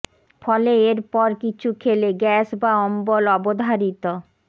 ফলে এর পর কিছু খেলে গ্যাস বা অম্বল অবধারিত